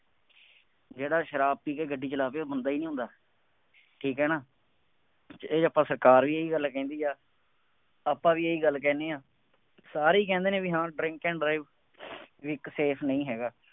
ਜਿਹੜਾ ਸ਼ਰਾਬ ਪੀ ਕੇ ਗੱਡੀ ਚਲਾਵੇ ਉਹ ਬੰਦਾ ਨਹੀਂ ਹੁੰਦਾ। ਠੀਕ ਹੈ ਨਾ, ਇਹਦੇ ਆਪਾਂ ਸਰਕਾਰ ਵੀ ਇਹੀ ਗੱਲ ਕਹਿੰਦੀ ਹੈ, ਆਪਾਂ ਵੀ ਇਹੀ ਗੱਲ ਕਹਿੰਦੇ ਹਾਂ, ਸਾਰੇ ਕਹਿੰਦੇ ਨੇ ਬਈ ਹਾਂ drink an drive quick safe ਨਹੀਂ ਹੈਗਾ।